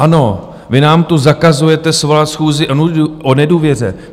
Ano, vy nám tu zakazujete svolat schůzi o nedůvěře.